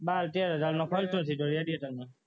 બાર તેર હજારનો એવીએટરમાં